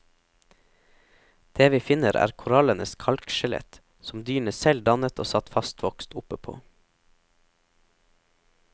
Det vi finner er korallenes kalkskjelett, som dyrene selv dannet og satt fastvokst oppe på.